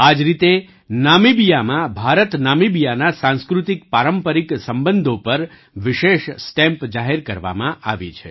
આ જ રીતે નામીબિયામાં ભારતનામીબિયાના સાંસ્કૃતિકપારંપરિક સંબંધો પર વિશેષ સ્ટેમ્પ જાહેર કરવામાં આવી છે